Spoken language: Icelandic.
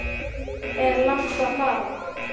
Er langt að fara?